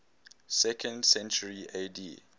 second century ad